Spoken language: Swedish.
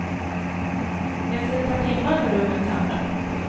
Efter ett par timmar var rummen tömda. punkt